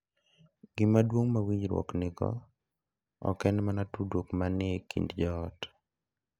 Gima duong’ ma winjruokgo nigo ok en mana tudruok ma ni e kind joot.